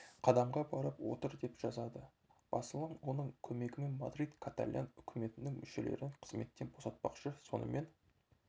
қадамға барып отыр деп жазады басылым оның көмегімен мадрид каталян үкіметінің мүшелерін қызметтен босатпақшы сонымен